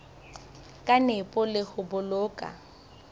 ka nepo le ho boloka